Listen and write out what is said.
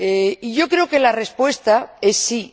Y yo creo que la respuesta es sí.